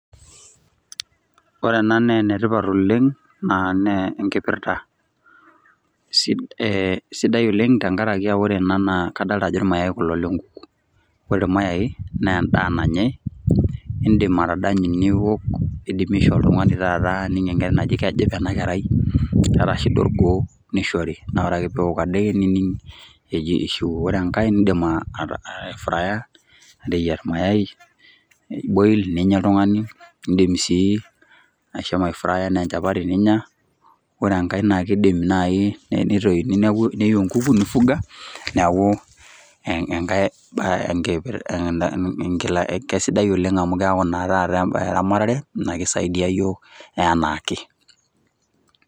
ore ena naa enetipat oleng naa ne enkipirrta eh, sidai oleng tenkarakia ore ena naa kadalta ajo irmayai kulo lenkuku wore irmayae naa endaa nanyae indim atadanyu niwok nidimi aishoo oltung'ani taata ining enkerai naji kejipa ena kerai keeta shida orgoo nishori naa ore ake peewok adake nining eji ishiwuo ore enkae nindim aefraya ateyierr mayai boil ninya oltung'ani indim sii ashomo aefraya enaa enchapati ninya ore enkae naa kidim naaji neitoini neiu enkuku nifuga neeku enkae sidai oleng keeku naa taata embaye eramatare naa kisaidia iyiok enaake.